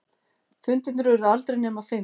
Fundirnir urðu aldrei nema fimm.